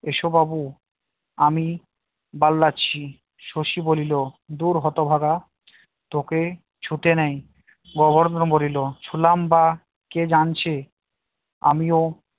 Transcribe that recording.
এসো বাবু আমি দাঁড়িয়ে আছি শশী বলিল দূর হতভাগা তোকে ছুঁতে নেই গোবর্ধন বলিল ছুঁলাম বা কে জানছে আমিও